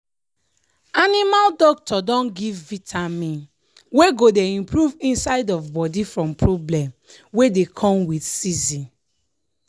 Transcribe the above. animal doctor don give vitamin wey go dey improve inside of body from problem wey dey come with season.